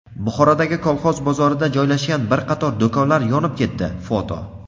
Buxorodagi "Kolxoz" bozorida joylashgan bir qator do‘konlar yonib ketdi (foto).